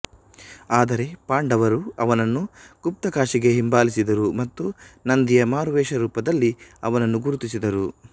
ಆದರೆ ಪಾಂಡವರು ಅವನನ್ನು ಗುಪ್ತಾಕಶಿಗೆ ಹಿಂಬಾಲಿಸಿದರು ಮತ್ತು ನಂದಿಯ ಮಾರುವೇಷ ರೂಪದಲ್ಲಿ ಅವನನ್ನು ಗುರುತಿಸಿದರು